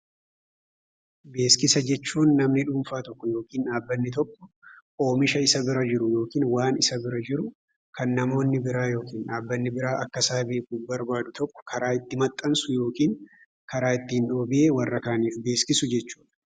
Beeksisa jechuun namni dhuunfaa tokko yookin dhaabbanni tokko oomisha isa bira jiru yookin waan isa bira jiru kan namoonni biraa yookin dhaabbanni biraa akka isaa beeku barbaadu tokko karaa itti maxxansu yookin karaa ittiin dhoobee warra kaaniif beeksisu jechuudha.